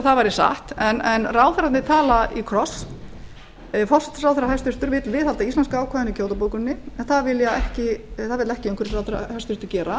gott ef satt væri en ráðherrarnir tala í kross hæstvirtur forsætisráðherra vill viðhalda íslenska ákvæðinu í kyoto bókuninni en það vill hæstvirtur umhverfisráðherra ekki gera